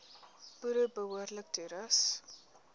boere behoorlik toerus